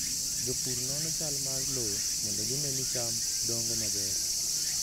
Jopur nono chal mar lowo mondo gine ni cham dongo maber.